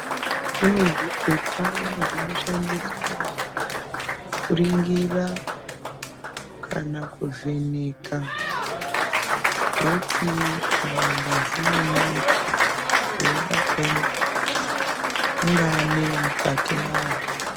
Kune zvipepa zvinoshandiswa kuringira kana kuvheneka veti kana ngazi yemuntu, veide kuona kuti ungaa nei mukati mwazvo.